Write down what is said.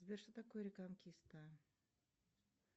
сбер что такое реконкиста